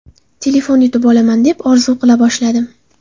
Telefon yutib olaman deb orzu qila boshladim”.